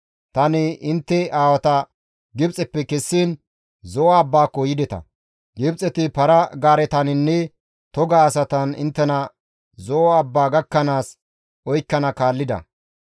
Tani intte aawata Gibxeppe kessiin Zo7o abbaako yideta; Gibxeti para-gaaretaninne toga asatan inttena Zo7o abbaa gakkanaas oykkana kaallida.